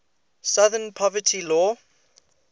southern poverty law